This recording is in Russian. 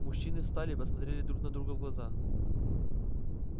мужчины встали и посмотрели друг на друга в глаза